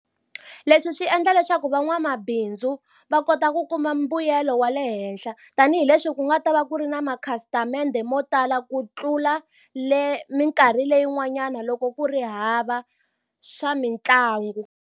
Leswi swi endla leswaku van'wamabindzu va kota ku kuma mbuyelo wa le henhla tanihileswi ku nga ta va ku ri na ma khasitamende mo tala ku tlula le minkarhi leyin'wanyana loko ku ri hava swa mitlangu.